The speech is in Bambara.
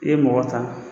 I ye mɔgɔ ta